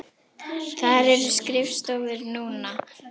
Þar eru skrifstofur núna.